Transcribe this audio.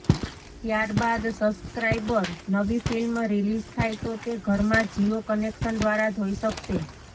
ત્યારબાદ સબસ્ક્રાઈબર નવી film release થાય તો તે ઘરમાં જિયો કનેક્શન દ્વારા જોઈ શકશે